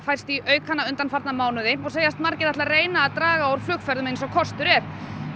færst í aukana undanfarna mánuði og segjast margir ætla að reyna að draga úr flugferðum eins og kostur er